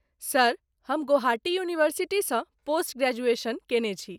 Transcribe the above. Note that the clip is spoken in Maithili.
सर, हम गौहाटी यूनिवर्सिटीसँ पोस्ट ग्रेजुएशन केने छी।